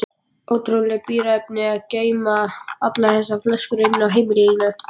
Ótrúleg bíræfni að geyma allar þessar flöskur inni á heimilinu.